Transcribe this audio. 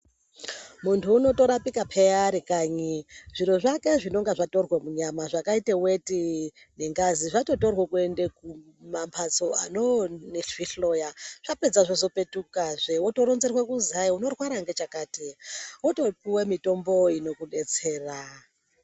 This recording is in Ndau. Muntu unotorapika peya arikanyi. Zviro zvake zvinenge zvatorwa munyama zvakaita weti nengazi zvatotorwa kuenda kumambatso anonozvihloya zvapedza zvozopetuka zve wotoronzerwa kuti unorwara ngechakati wotopuwa mitombo ino kudetsera.